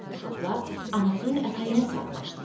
Uşaqlar anasının ətəyinə sarmaşdılar.